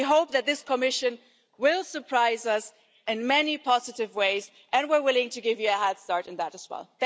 And we hope that this Commission will surprise us in many positive ways, and we're willing to give you a head start in that as well.